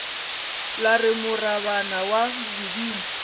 la re morabana wa bodimo